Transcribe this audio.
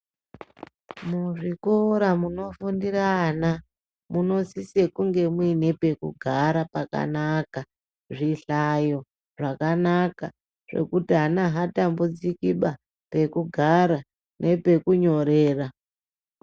Muzvikora munofundira ana, munosise kunge muine pekugara pakanaka. Zvihlayo zvakanaka zvekuti ana haatambudzikiba pekugara nepekunyorera .